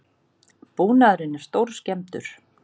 Búnaðurinn er stórskemmdur